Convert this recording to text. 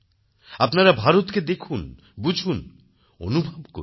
আপনারা ভারতকে দেখুন বুঝুন অনুভব করুন